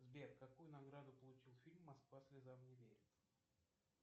сбер какую награду получил фильм москва слезам не верит